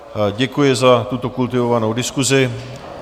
Děkuji za tuto kultivovanou diskusi.